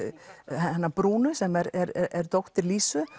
hennar brúnu sem er dóttir Lísu